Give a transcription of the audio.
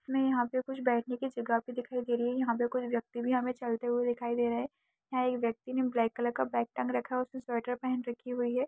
हमें यहाँ पे कुछ बैठने की जगह भी दिखाई दे रही है यहाँ पे कुछ व्यक्ति भी हमें चलते हुए दिखाई दे रहे हैं एक व्यक्ति ने ब्लैक कलर का बैग टांग रखा है उसने स्वेटर पहन रखी हुई है।